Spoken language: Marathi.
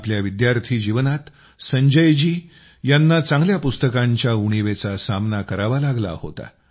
आपल्या विद्यार्थी जीवनात संजय जी यांनी चांगल्या पुस्तकांच्या उणीवेचा सामना करावा लागला होता